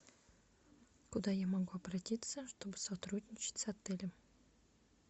куда я могу обратиться чтобы сотрудничать с отелем